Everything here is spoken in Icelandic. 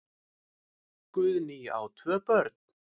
Guðný á tvö börn.